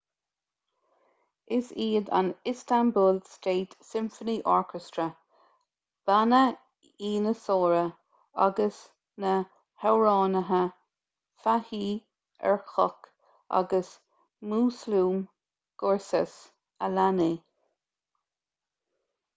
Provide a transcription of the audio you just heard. is iad an istanbul state symphony orchestra banna ianasóra agus na hamhránaithe fatih erkoç agus müslüm gürses a lean é